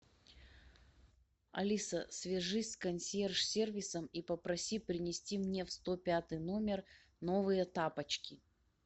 алиса свяжись с консьерж сервисом и попроси принести мне в сто пятый номер новые тапочки